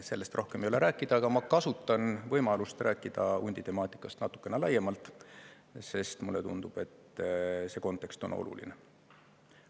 Sellest rohkem ei ole rääkida, aga ma kasutan võimalust rääkida hunditemaatikast natukene laiemalt, sest mulle tundub, et see kontekst on oluline.